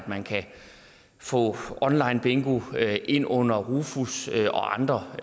man kan få online bingo ind under rofus og andre